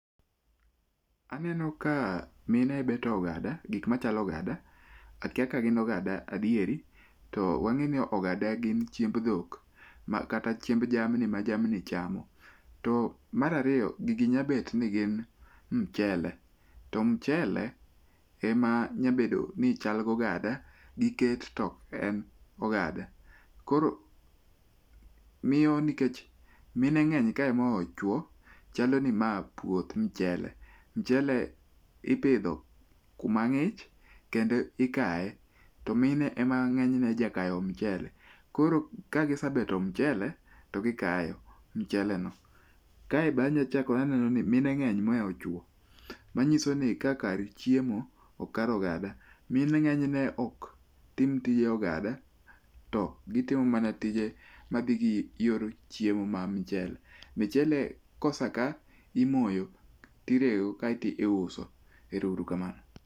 Aneno ka mine beto ogada, gik machalo ogada. Akia ka gin ogada adieri. To wang'eyo ni ogada gin chiemb dhok ma kata chiemb jamni ma jamni chamo. To mar ariyo, gigi nyalo bet ni gin mchele, to mchele ema nyalo bedo ni chal gi ogada. Giket to ok en ogada, koro miyo nikech mine ng'eny kae moloyo chuo, chalo ni mae puoth mchele. Mchele ipidho kuma ng'ich kendo ikaye to mine ema ng'enyne jakayo mchele. Koro ka gisebeto mchele to gikayo mcheleno. Kae be anya achako aneno ni mine ng'eny mohewo chuo manyiso ni ka kar chiemo ok kar ogada. Mine ng'enyne ok tim tije ogada to gitimo mana tije madhi gi yor chiemo mar mchele. Mchele ka oseka, to imoyo kaeto iuso. Erouru kamano.